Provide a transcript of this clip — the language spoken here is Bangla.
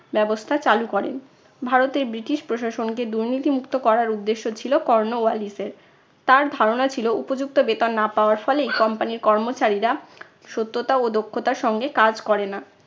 ব্যবস্থা চালু করেন। ভারতের ব্রিটিশ প্রশাসনকে দুর্নীতি মুক্ত করার উদ্দেশ্য ছিল কর্নোওয়ালিস এর । তার ধারণা ছিলো উপযুক্ত বেতন না পাওয়ার ফলেই company র কর্মচারীরা সত্যতা ও দক্ষতার সঙ্গে কাজ করে না।